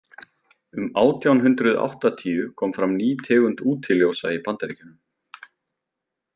Um átján hundrað áttatíu kom fram ný tegund útiljósa í Bandaríkjunum.